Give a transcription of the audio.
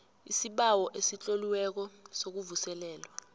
isibawo esitloliweko sokuvuselelwa